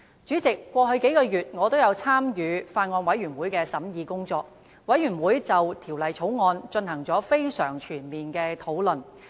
主席，過去數個月，我也有參與法案委員會的審議工作，法案委員會就《條例草案》進行了非常全面的討論。